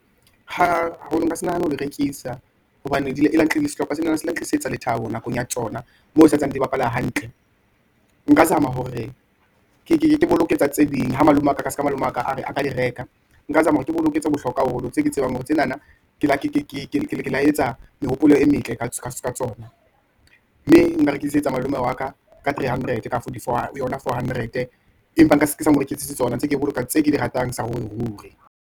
Ha nka se nahane ho di rekisa, hobane di le tlile sehlopha senana se la tlisetsa le thabo nakong ya tsona, moo ho santsane di bapala hantle. Nka zama hore ke boloketsa tse ding, ha malome wa ka, ka se ka ha malome wa ka a ka di reka. Nka zama ke boloketse bohlokwa haholo, tse ke tsebang hore tsenana ke la ke la etsa mehopolo e metle ka tsona, mme nka rekisetsa malome wa ka, ka three hundred, kapa for di for yona four hundred. Empa nka se ke sa mo rekisetse tsona, ntse ke e boloka tse ke di ratang, saruriruri.